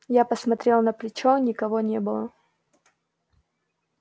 я посмотрел на плечо никого не было